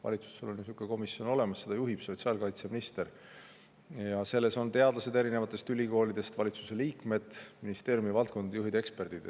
Valitsusel on niisugune komisjon olemas, seda juhib sotsiaalkaitseminister ja sellesse teadlased erinevatest ülikoolidest, valitsuse liikmed, ministeeriumide valdkonnajuhid ja eksperdid.